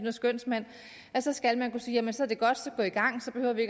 og skønsmænd at så skal man kunne sige jamen så er det godt så gå i gang så behøver vi